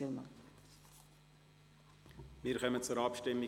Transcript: Wir kommen zur Abstimmung.